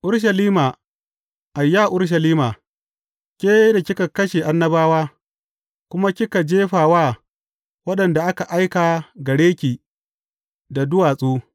Urushalima, ayya Urushalima, ke da kika kashe annabawa, kuma kika jefa wa waɗanda aka aika gare ki da duwatsu.